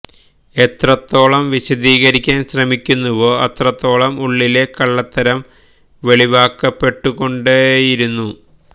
എത്രത്തോളം വിശദീകരിക്കാന് ശ്രമിക്കുന്നുവോ അത്രത്തോളം ഉള്ളിലെ കള്ളത്തരം വെളിവാക്കപ്പെട്ടു കൊണ്ടേയിരുന്നു